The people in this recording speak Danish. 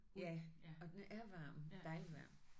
Ja og den er varm. Dejlig varm